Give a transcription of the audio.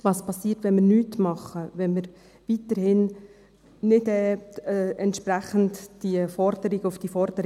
Was passiert, wenn wir nichts tun, wenn wir weiterhin nicht entsprechend auf die Forderungen eingehen?